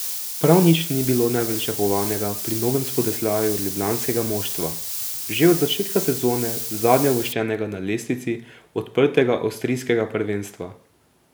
Prav nič ni bilo nepričakovanega pri novem spodrsljaju ljubljanskega moštva, že od začetka sezone zadnjeuvrščenega na lestvici odprtega avstrijskega prvenstva.